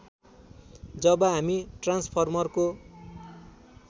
जब हामी ट्रान्सफर्मरको